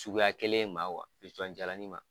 Cuguya kelen ma wa, pisɔn jalanin ma